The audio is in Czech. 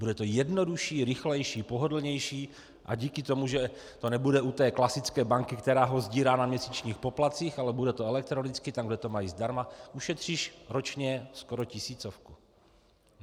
Bude to jednodušší, rychlejší, pohodlnější a díky tomu, že to nebude u té klasické banky, která ho sdírá na měsíčních poplatcích, ale bude to elektronicky tam, kde to mají zdarma, ušetříš ročně skoro tisícovku.